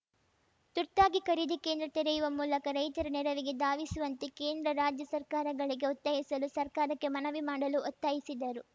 ತುರ್ತಾಗಿ ಖರೀದಿ ಕೇಂದ್ರ ತೆರೆಯುವ ಮೂಲಕ ರೈತರ ನೆರವಿಗೆ ಧಾವಿಸುವಂತೆ ಕೇಂದ್ರ ರಾಜ್ಯ ಸರ್ಕಾರಗಳಿಗೆ ಒತಾಯಿಸಲು ಸರ್ಕಾರಕ್ಕೆ ಮನವಿ ಮಾಡಲು ಒತ್ತಾಯಿಸಿದರು